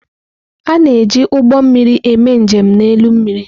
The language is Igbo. A na-eji ụgbọ mmiri eme njem n'elu mmiri.